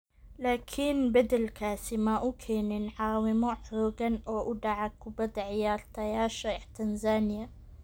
Laakiin beddelkaasi ma uu keenin caawimo xoogan oo u dhaca kubbadda ciyaartayaasha Tanzania.